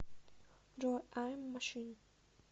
джой ай эм машин